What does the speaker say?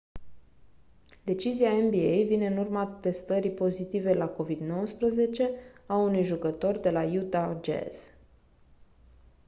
decizia nba vine în urma testării pozitive la covid-19 a unui jucător de la utah jazz